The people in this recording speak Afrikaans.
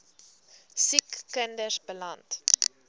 siek kinders beland